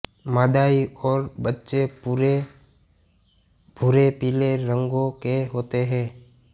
मादाएँ और बच्चे पूरे भूरेपीले रंगों के होते हैं